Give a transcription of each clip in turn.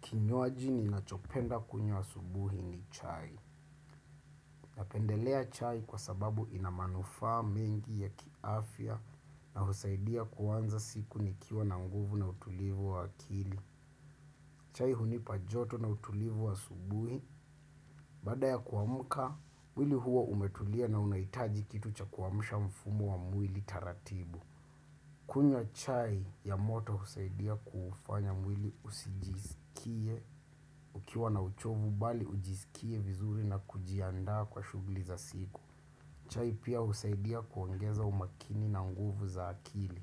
Kinywaji ni nachopenda kunywa asubuhi ni chai. Napendelea chai kwa sababu inamanufaa mengi ya kiafia na husaidia kuwanza siku nikiwa na mguvu na utulivu wa akili. Chai hunipa joto na utulivu wa subuhi. Baada ya kuamka, mwili huo umetulia na unaitaji kitu cha kuamusha mfumu wa mwili taratibu. Kunywa chai ya moto husaidia kuufanya mwili usijisikie ukiwa na uchovu bali ujisikie vizuri na kujiandaa kwa shugli za siku. Chai pia husaidia kuongeza umakini na nguvu za akili.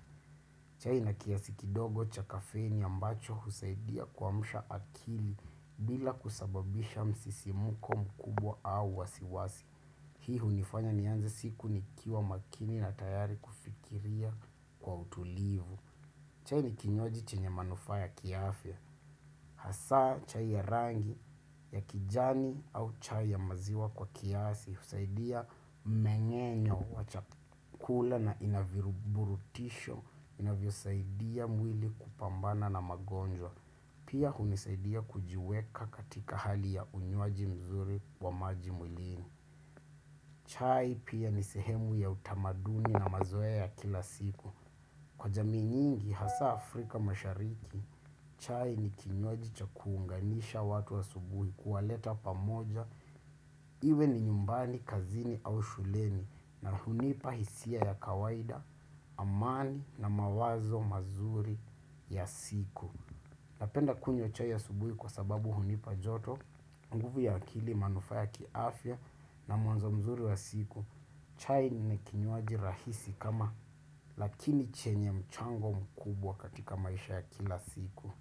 Chai ina kiasi kidogo cha kafeini ambacho husaidia kuamsha akili bila kusababisha msisimko mkubwa au wasi wasi hii hunifanya nianze siku nikiwa makini na tayari kufikiria kwa utulivu. Chai ni kinywaji chinye manufaa ya kiafya. Hasaa chai ya rangi ya kijani au chai ya maziwa kwa kiasi. husaidia mmeng'enyo wa chakula na inaviruburutisho. Inavyo saidia mwili kupambana na magonjwa. Pia hunisaidia kujiweka katika hali ya unywaji mzuri wa maji mwilini. Chai pia nisehemu ya utamaduni na mazoe ya kila siku. Kwa jamii nyingi hasa Afrika mashariki, chai ni kinywaji cha kuunganisha watu asubuhi kuwaleta pamoja. Iwe ni nyumbani kazini au shuleni na hunipa hisia ya kawaida, amani na mawazo mazuri ya siku. Napenda kunywa chai asubuhi kwa sababu hunipa joto, nguvu ya akili manufaya kiafia na mwanzo mzuri wa siku. Chai ni kinywaji rahisi kama lakini chenye mchango mkubwa katika maisha ya kila siku.